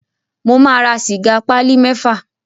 Mo máa ra sìgá pálí mẹ́fà.